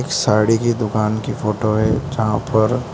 साड़ी की दुकान की फोटो है जहां पर --